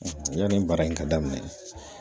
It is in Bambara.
Yanni baara in ka daminɛ